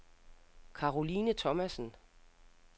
Caroline Thomasen